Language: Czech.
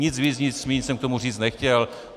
Nic víc, nic míň jsem k tomu říct nechtěl.